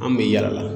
An bɛ yaala